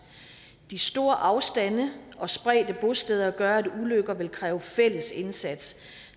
de store afstande og spredte bosteder gør at ulykker vil kræve fælles indsats